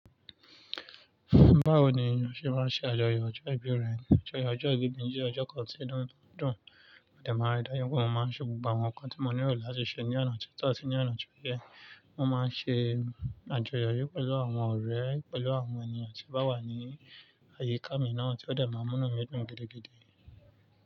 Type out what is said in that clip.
Báwo ni o ṣe máa ń ṣe àjọyọ̀ ọjọ́ ìbí rẹ̀? Ọjọ́ ìbí mi jẹ́ ọjọ́ kan tí inu dùn, ó dẹ̀ máa rẹdà yín pé mo máa ń ṣe gbogbo àwọn nǹkan tí mo nílò láti ṣe ní ọ̀nà tó tọ̀ ati ní ọ̀nà tó yẹ. Mo máa ń ṣe àjọyọ̀ yí pẹ̀lú àwọn ọ̀rẹ́, pẹ̀lú àwọn ènìyàn tí o bá wà ní àyíká mi náà tí ó dẹ̀ máa múnu mi dùn gidigidi.